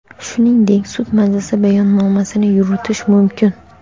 shuningdek sud majlisi bayonnomasini yuritishi mumkin.